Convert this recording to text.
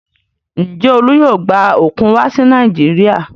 Ǹjẹ́ Olú yóò gba òkun wá sí Nàìjíríà?